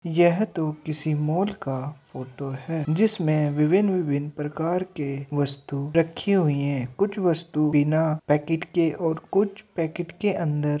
यह तो किसी का मॉल का फोटो है। जिसमे विभिन्न -विभिन्न प्रकार के वस्तु रखे हुए हैं कुछ वस्तु बिना पैकेट के और कुछ पैकेट के अंदर --